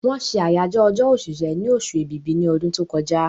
Wọ́n ṣe àyájọ́ ọjọ́ òṣìṣẹ́ ni osù èbìbí ní ọdún tó kọjá